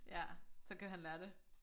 Ja så kan han lære det